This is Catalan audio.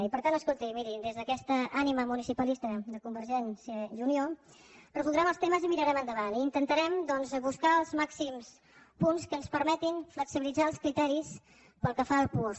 i per tant escolti miri des d’aquesta ànima municipalista de convergència i unió resoldrem els temes i mirarem endavant i intentarem doncs buscar els màxims punts que ens permetin flexibilitzar els criteris pel que fa al puosc